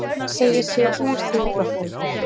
Segir sig úr þingflokknum